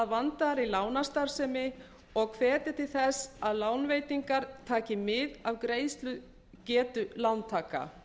vandaðri lánastarfsemi og hvetur til þess að lánveitingar taki mið af greiðslugetu lántaka